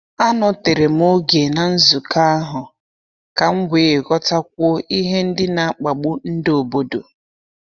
Anọtere m oge na nzukọ ahụ ka m wee ghọtakwuo ihe ndị n'akpagbu nde obodo.